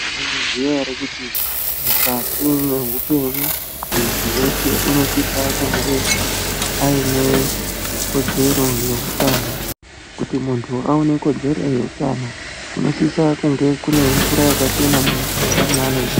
Mwaizviziya here kuti mukati mehpenyu muntu weshe unosise kuaine kodzero yeutano. Kuti muntu aone kodzero yeutano kunosisa kunge kune mvura yakachena mumuganga mwaanogara.